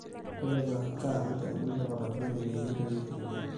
tipika CAN tenidip atodua eneyia enterit tenimpim